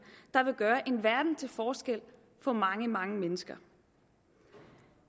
der vil gøre en verden til forskel for mange mange mennesker